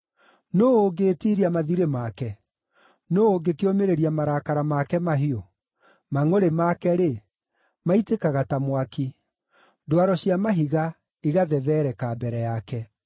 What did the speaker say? Nũũ ũngĩĩtiiria mathirĩ make? Nũũ ũngĩkĩũmĩrĩria marakara make mahiũ? Mangʼũrĩ make-rĩ, maitĩkaga ta mwaki; ndwaro cia mahiga igathethereka mbere yake.